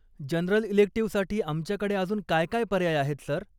General इलेक्टिव्हसाठी आमच्याकडे अजून काय काय पर्याय आहेत, सर?